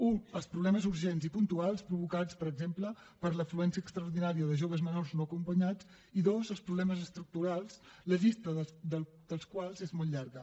u els problemes urgents i puntuals provocats per exemple per l’afluència extraordinària de joves menors no acompanyats i dos els problemes estructurals la llista dels quals és molt llarga